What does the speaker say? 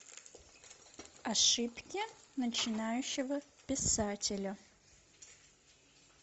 ошибки начинающего писателя